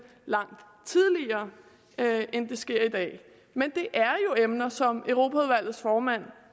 langt tidligere end det sker i dag men det er jo emner som europaudvalgets formand